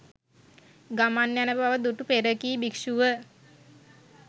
ගමන් යන බව දුටු පෙරකී භික්ෂු ව